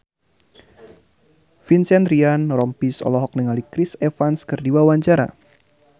Vincent Ryan Rompies olohok ningali Chris Evans keur diwawancara